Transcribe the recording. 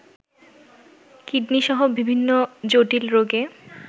কিডনিসহ বিভিন্ন জটিল রোগে